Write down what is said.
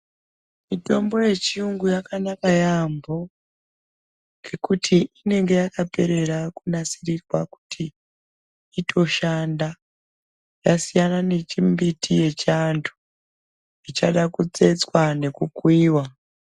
Mitombo yechiyungu yakanaka yaampho, ngekuti inenge yakaperera kunasirirwa kuti itoshanda. Yasiyana nechimbiti yechiantu, ichada kutsetswa nekukuiwa.